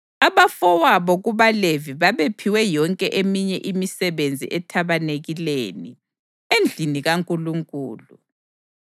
Abafowabo kubaLevi babephiwe yonke eminye imisebenzi ethabanikeleni, endlini kaNkulunkulu.